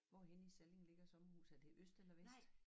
Hvorhenne i Salling ligger sommerhuset er det i øst eller vest?